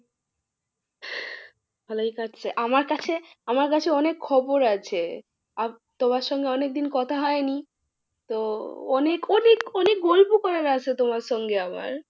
ভালোই কাটছে, আমার কাছে, আমার কাছে অনেক খবর আছে তোমার সঙ্গে অনেকদিন কথা হয়নি। তো অনেক অনেক অনেক গল্প করার আছে তোমার সঙ্গে আমার।